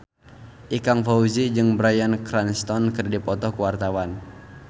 Ikang Fawzi jeung Bryan Cranston keur dipoto ku wartawan